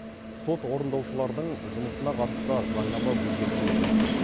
сот орындаушылардың жұмысына қатысты заңнама өзгертілуі мүмкін